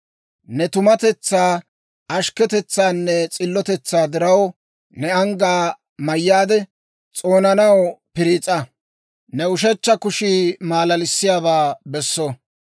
Ne tumatetsaa, ashkketetsaanne s'illotetsaa diraw, ne anggaa mayyaade, s'oonanaw piriis'a. Ne ushechcha kushii malalissiyaabaa besso.